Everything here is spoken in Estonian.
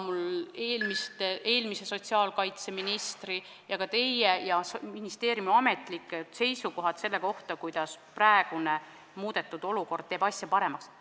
Mul on siin eelmise sotsiaalkaitseministri ja ka teie ning ministeeriumi ametlikud seisukohad selle kohta, kuidas praegune, muudetud olukord asja paremaks teeb.